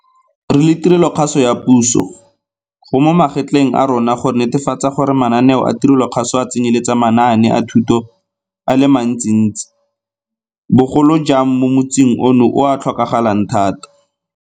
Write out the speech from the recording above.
Re le tirelokgaso ya puso, go mo magetleng a rona go netefatsa gore mananeo a tirelokgaso a tsenyeletsa manaane a thuto a le mantsintsi, bogolo jang mo motsing ono o a tlhokagalang e le ruri.